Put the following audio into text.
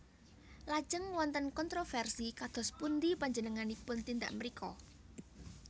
Lajeng wonten kontrovérsi kadospundi panjenenganipun tindak mrika